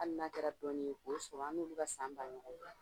Hali n'a kɛra dɔɔni ye k'o sɔrɔ an n' olu ka san ba